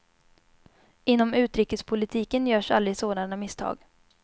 Inom utrikespolitiken görs aldrig sådana misstag.